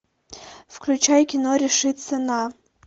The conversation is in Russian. включай кино решиться на